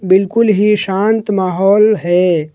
बिल्कुल ही शांत माहौल है।